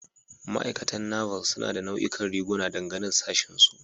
Ma'aikatan Naval suna da nau'ikan riguna, dangane da sashinsu.